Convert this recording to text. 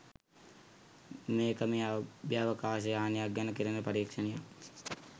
මේක මේ අභ්‍යවකාශ යානයක් ගැන කෙරෙන පරීක්ෂණයක්.